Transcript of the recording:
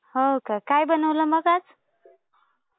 हो, का? काय बनवलं मग आज?